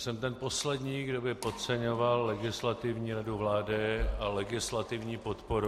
Jsem ten poslední, kdo by podceňoval Legislativní radu vlády a legislativní podporu.